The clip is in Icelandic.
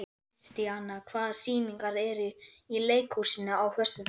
Kristíanna, hvaða sýningar eru í leikhúsinu á föstudaginn?